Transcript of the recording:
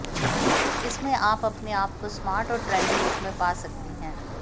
इसमें आप अपने आप को स्मार्ट और ट्रेंडी लुक में पा सकती हैं